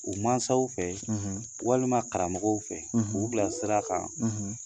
U masaw fɛ walima karamɔgɔw fɛ ,k'u bila sira kan .